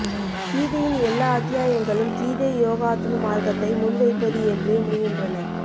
கீதையின் எல்லா அத்தியாயங்களும் கீதை யோகாத்ம மார்க்கத்தை முன்வைப்பது என்றே முடிகின்றன